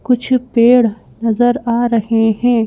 कुछ पेड़ नजर आ रहे हैं।